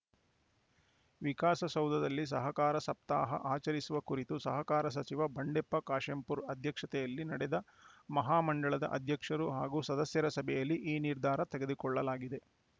ವಿಕಾಸಸೌಧದಲ್ಲಿ ಸಹಕಾರ ಸಪ್ತಾಹ ಆಚರಿಸುವ ಕುರಿತು ಸಹಕಾರ ಸಚಿವ ಬಂಡೆಪ್ಪ ಕಾಶಂಪುರ ಅಧ್ಯಕ್ಷತೆಯಲ್ಲಿ ನಡೆದ ಮಹಾ ಮಂಡಳದ ಅಧ್ಯಕ್ಷರು ಹಾಗೂ ಸದಸ್ಯರ ಸಭೆಯಲ್ಲಿ ಈ ನಿರ್ಧಾರ ತೆಗೆದುಕೊಳ್ಳಲಾಗಿದೆ